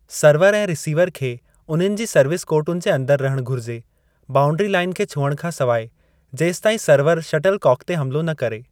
Server ऐं receiver खे उन्हनि जी सर्विस कोर्टुनि जे अंदरि रहण घुरिजे, बाऊंडरी लाइन खे छुहण खां सवाइ, जेसताईं सर्वर शटल काक ते हमलो न करे।